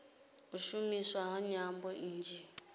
u shumiswa ha nyambo nnzhi